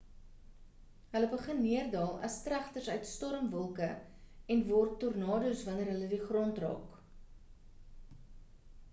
hulle begin neerdaal as tregters uit storm wolke en word tornadoes wanneer hulle die grond raak